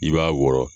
I b'a wɔrɔ